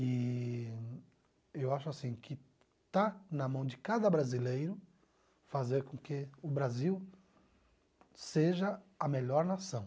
Eee eu acho que está na mão de cada brasileiro fazer com que o Brasil seja a melhor nação.